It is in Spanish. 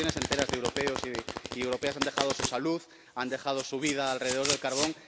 generaciones enteras de europeos y europeas han dejado su salud, han dejado su vida alrededor del carbón.